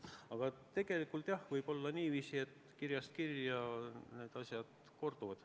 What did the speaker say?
Aga tegelikult võib küll olla niiviisi, et kirjast kirja need asjad korduvad.